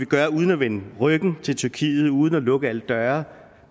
gøre uden at vende ryggen til tyrkiet uden at lukke alle døre